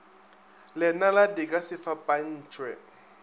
lenala di ka se fapantšhwe